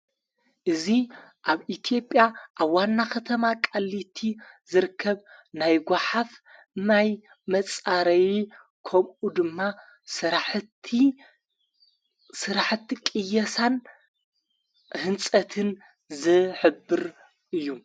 እዙ ኣብ ኢትዮጵያ ኣብ ዋና ኸተማ ቃሊቲ ዘርከብ ናይ ጓሓፍ ናይ መጻረይ ከምኡ ድማ ሠራሕቲ ቕየሳን ሕንጸትን ዘሕብር እዩ::